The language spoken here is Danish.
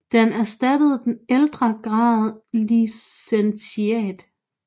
Den erstattede den ældre grad licentiat